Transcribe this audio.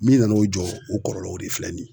Min nana o jɔ o kɔlɔlɔw de filɛ nin ye.